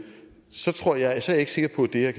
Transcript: ikke